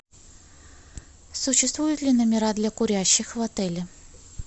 существуют ли номера для курящих в отеле